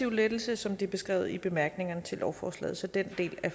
lettelse som det er beskrevet i bemærkningerne til lovforslaget så den del af